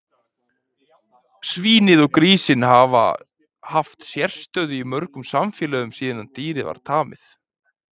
Svínið og grísinn hafa haft sérstöðu í mörgum samfélögum síðan dýrið var tamið.